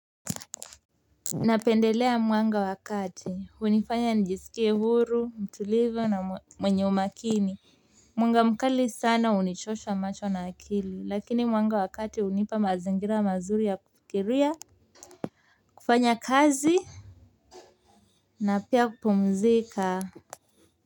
Napendelea mwanga wakati, hunifanya nijisikie huru, mtulivu na mwenye umakini mwanga mkali sana hunichosha macho na akili, lakini mwanga wa kati hunipa mazingira mazuri ya kufikiria kufanya kazi na pia kupumzika.